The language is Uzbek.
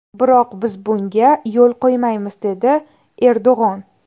Biroq biz bunga yo‘l qo‘ymaymiz”, dedi Erdo‘g‘on.